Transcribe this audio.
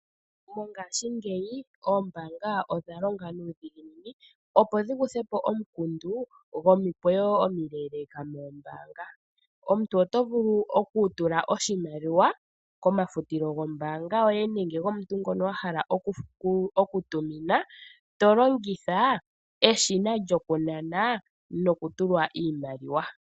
Mongashingeyi oombaanga odha longa nuudhiginini, opo dhi kuthe po omukundu gomikweyo omileeleeka moombanga. Omuntu oto vulu okutula oshimaliwa komafutilo gombaanga yoye nenge gomuntu ngoka wa hala okutumina to longitha eshina lyokunana nokutulwa iimaliwa.